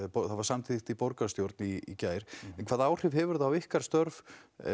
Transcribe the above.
það var samþykkt í borgarstjórn í gær en hvaða áhrif hefur það á ykkar störf